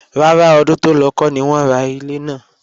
Rárá, ọdún tó lọ kọ́ ni wọ́n ra ilé náà